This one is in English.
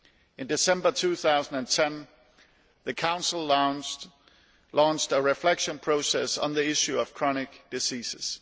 In December 2010 the Council launched a reflection process on the issue of chronic diseases.